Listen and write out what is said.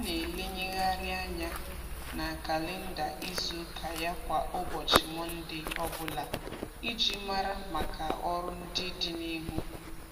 Ọ na-elenyegharị anya na kalịnda izuụka ya kwa ụbọchị Mọnde ọbụla iji mara maka ọrụ ndị dị n'ihu.